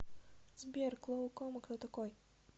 сбер клоукома кто такой